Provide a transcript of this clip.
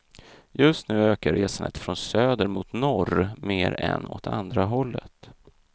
Just nu ökar resandet från söder mot norr mer än åt andra hållet.